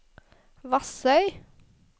Vassøy